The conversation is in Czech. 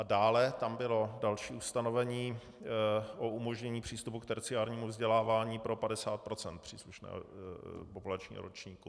A dále tam bylo další ustanovení o umožnění přístupu k terciárnímu vzdělávání pro 50 % příslušného populačního ročníku.